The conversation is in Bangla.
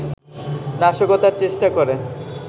নাশকতার চেষ্টা করে